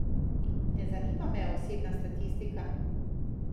Ne zanima me osebna statistika.